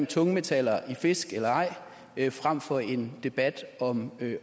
tungmetaller i fisk eller ej frem for en debat om